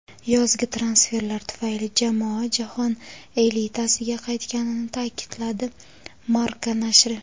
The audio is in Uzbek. yozgi transferlar tufayli jamoa jahon elitasiga qaytganini ta’kidladi – "Marca" nashri.